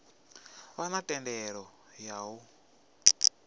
vha na thendelo ya u